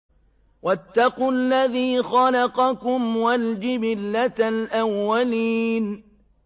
وَاتَّقُوا الَّذِي خَلَقَكُمْ وَالْجِبِلَّةَ الْأَوَّلِينَ